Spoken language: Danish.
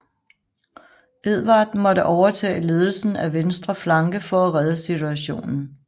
Edvard måtte overtage ledelsen af venstre flanke for at redde situationen